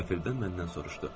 Qəfildən məndən soruşdu.